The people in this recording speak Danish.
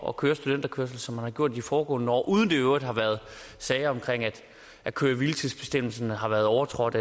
at køre studenterkørsel som man har gjort de foregående år uden at der i øvrigt har været sager om at køre hvile tids bestemmelserne har været overtrådt